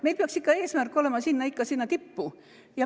Meil peaks olema eesmärk jõuda ikka sinna tippu.